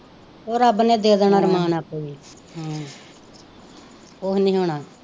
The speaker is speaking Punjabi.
ਉਹ ਰੱਬ ਨੇ ਦੇ ਦੇਣਾ ਅਰਮਾਨ ਆਪੇ ਹੀ ਕੁੱਝ ਨਹੀਂ ਹੋਣਾ